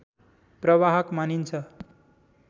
प्रवाहक मानिन्छ